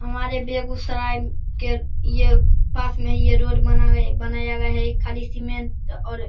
हमारे बेगूसराय के ये पास में ही ये रोड बना गया बनाया गया है खाली सीमेंट और --